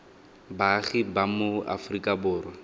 baagi ba mo aforika borwa